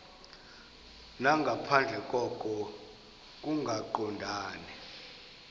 nangaphandle koko kungaqondani